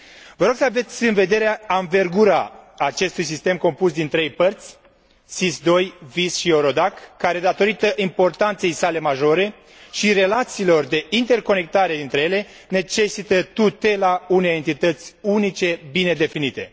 Vă rog să aveți în vedere anvergura acestui sistem compus din trei părți SIS II, VIS și EURODAC care, datorită importanței sale majore și relațiilor de interconectare dintre ele, necesită tutela unei entități unice bine definite.